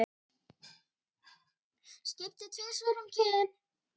Skipti tvisvar um kyn